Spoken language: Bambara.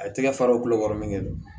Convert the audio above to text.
A tɛgɛ fa do kulokɔrɔ mɛ nɛ don